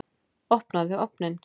Opnaðu ofninn!